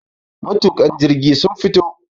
matuka. jirgi sun fito